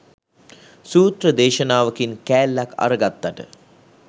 සුත්‍ර දේශනාවකින් කෑල්ලක් අරගත්තට